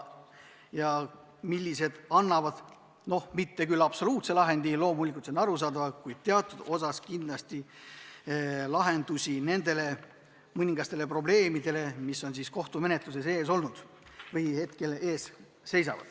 See eelnõu ei anna küll absoluutset lahendit – loomulikult, see on arusaadav –, kuid teatud osas pakub see kindlasti lahendusi mõningatele probleemidele, mis kohtumenetluses on olnud.